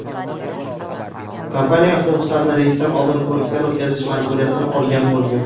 Kompaniya avtobuslarni reysdan oldin ko‘rikdan o‘tkazish majburiyatini olgan bo‘lgan.